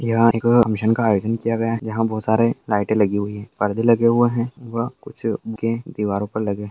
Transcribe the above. यहाँ एक फंक्शन का आयोजन किया गया है यहाँ बहुत सारे लाइटे लगी हुई है पर्दे लगे हुए हैं वह कुछ उनके दीवारों पे लगे --